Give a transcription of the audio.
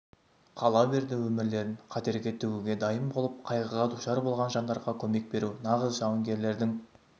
қала берді өмірлерін қатерге тігуге дайын болып қайғыға душар болған жандарға көмек беру нағыз жауынгерлердің